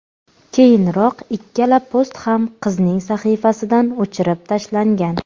Keyinroq ikkala post ham qizning sahifasidan o‘chirib tashlangan.